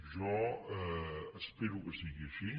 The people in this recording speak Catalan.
jo espero que sigui així